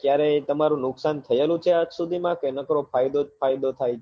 ક્યારે તમારું નુકસાન થયેલું છે આજ સુધી માં કે નકરો ફાયદો જ ફાયદો થાય છે